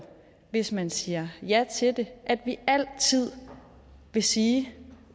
hvis man siger ja til det at vi altid vil sige